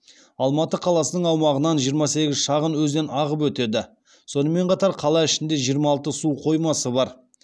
алматы қаласының аумағынан жиырма сегіз шағын өзен ағып өтеді сонымен қатар қала ішінде жиырма алты су қоймасы бар